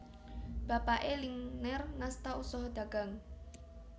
Bapake Lingner ngasta usaha dagang